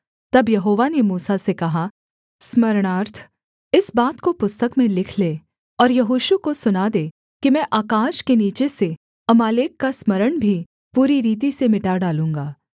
तब यहोवा ने मूसा से कहा स्मरणार्थ इस बात को पुस्तक में लिख ले और यहोशू को सुना दे कि मैं आकाश के नीचे से अमालेक का स्मरण भी पूरी रीति से मिटा डालूँगा